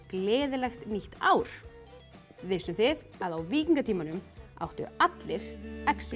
gleðilegt nýtt ár vissuð þið að á víkingatímanum áttu allir exi